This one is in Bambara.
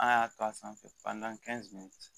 An y'a to a sanfɛ